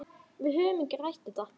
Við höfum ekki rætt þetta.